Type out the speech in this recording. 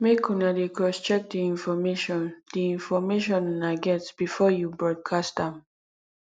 make una dey crosscheck the information the information una get before you broadcast am